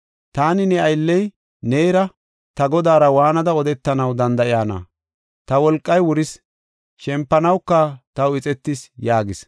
Taani ne aylley, neera, ta godaara waanada odetanaw danda7ayna? Ta wolqay wuris; shempanawuka taw ixetis” yaagas.